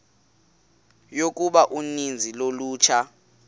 yokuba uninzi lolutsha